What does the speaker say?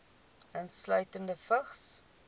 insluitende vigs